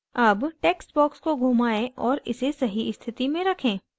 अब text box को घुमाएं और इसे सही स्थिति में रखें